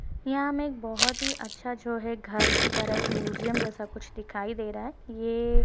यहाँ हमें एक बोहोत ही अच्छा जो है घर की तरह एक म्युजियम जैसा कुछ दिखाई दे रहा है। ये --